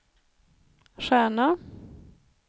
stjärna